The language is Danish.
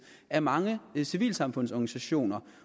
af mange civilsamfundsorganisationer